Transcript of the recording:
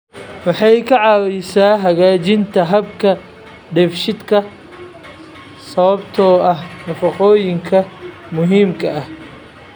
Waxay ka caawisaa hagaajinta habka dheefshiidka sababtoo ah nafaqooyinka muhiimka ah.